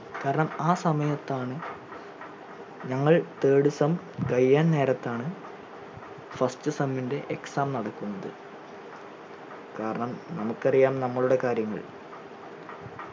കാരണം ആ സമയത്താണ് ഞങ്ങൾ third sem കഴിയാൻ നേരത്താണ് first sem ൻറെ exam നടക്കുന്നത് കാരണം നമുക് അറിയാം നമ്മളുടെ കാര്യങ്ങൾ